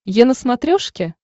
е на смотрешке